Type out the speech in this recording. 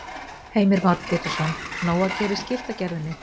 Heimir Már Pétursson: Nóg að gera í skiltagerðinni?